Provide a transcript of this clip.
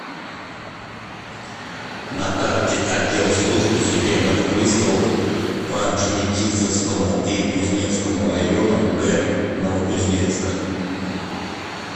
на карте отдел службы судебных приставов по орджоникидзевскому и кузнецкому районам г новокузнецка